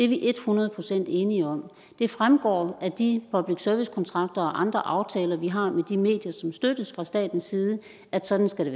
vi et hundrede procent enige om det fremgår af de public service kontrakter og andre aftaler vi har med de medier som støttes fra statens side at sådan skal